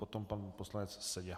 Potom pan poslanec Seďa.